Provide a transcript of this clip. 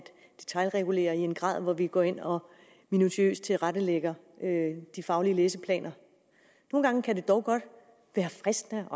detailregulere i en grad hvor vi går ind og minutiøst tilrettelægger de faglige læseplaner nogle gange kan det dog godt være fristende